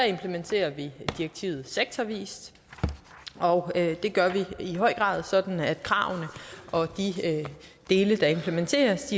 implementerer vi direktivet sektorvis og det gør vi i høj grad sådan at kravene og de dele der implementeres